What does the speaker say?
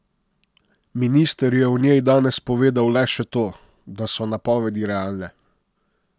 Minister je o njej danes povedal le še to, da so napovedi realne.